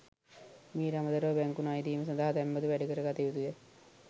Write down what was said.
මීට අමතරව බැංකු ණයදීම සඳහා තැන්පතු වැඩිකර ගත යුතුය.